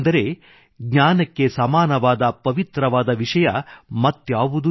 ಅಂದರೆ ಜ್ಞಾನಕ್ಕೆ ಸಮಾನವಾದ ಪವಿತ್ರವಾದ ವಿಷಯ ಮತ್ಯಾವುದೂ ಇಲ್ಲ